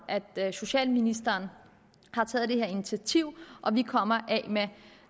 at socialministeren har taget det her initiativ og at vi kommer af med